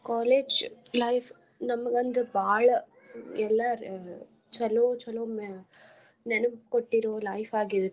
College life ನಮ್ಗ್ ಒಂದ್ ಬಾಳ ಎಲ್ಲಾ ಚಲೋ ಚಲೋ ನೆನಪ್ ಕೊಟ್ಟಿರೊ life ಆಗಿರುತ್ತ.